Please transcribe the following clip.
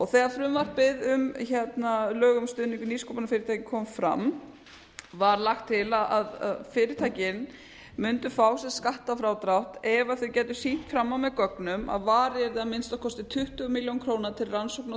þegar frumvarpið um lög um stuðning við nýsköpunarfyrirtæki kom fram var lagt til að fyrirtækin mundu fá skattfrádrátt ef þau gætu sýnt fram á með gögnum að varið að minnsta kosti tuttugu milljónir króna til rannsókna og